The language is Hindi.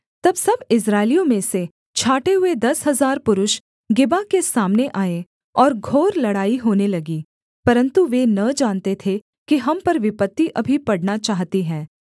तब सब इस्राएलियों में से छाँटे हुए दस हजार पुरुष गिबा के सामने आए और घोर लड़ाई होने लगी परन्तु वे न जानते थे कि हम पर विपत्ति अभी पड़ना चाहती है